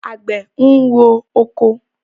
Àgbẹ̀ ń rọ oko.